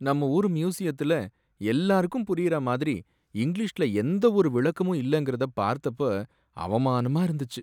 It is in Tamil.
நம்ம ஊரு மியூசியத்துல எல்லாருக்கும் புரியற மாதிரி இங்கிலீஷ்ல எந்த ஒரு விளக்கமும் இல்லங்கறத பார்த்தப்ப அவமானமா இருந்துச்சு.